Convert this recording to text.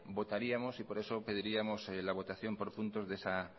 votaríamos y por eso pediríamos la votación por puntos de esa